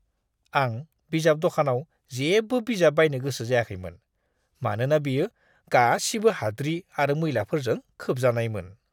आं बिजाब दखानाव जेबो बिजाब बायनो गोसो जायाखैमोन, मानोना बेयो गासिबो हाद्रि आरो मैलाफोरजों खोबजानायमोन!